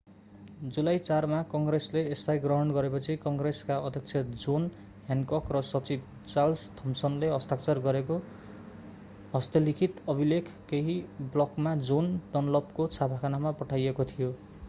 जुलाई 4 मा काङ्ग्रेसले यसलाई ग्रहण गरेपछि काङ्ग्रेसका अध्यक्ष जोन ह्यान्कक र सचिव चार्ल्स थमसनले हस्ताक्षर गरेको हस्तलिखित अभिलेख केही ब्लकमा जोन डनलपको छापाखानामा पठाइएको थियो